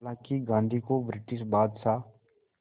हालांकि गांधी को ब्रिटिश बादशाह